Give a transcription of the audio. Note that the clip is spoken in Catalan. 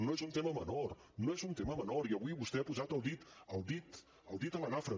no és un tema menor no és un tema menor i avui vostè ha posat el dit el dit el dit a la nafra